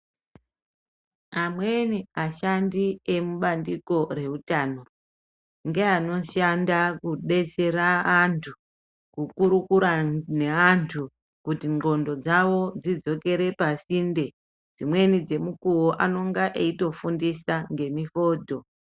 Amweni ashandi emubandiko reutano, ngeanoshanda kudetsera anthu, kukurukura neanthu kuti ngqondo dzawo dzidzokere pasinde. Dzimweni dzemikuwo anonga eitofundisa ngemifodho.